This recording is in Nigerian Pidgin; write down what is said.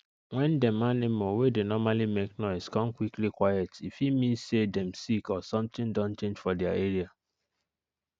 wen dem animal wey dey normally make noise kon quickly quiet e fit mean say dem sick or something don change for their area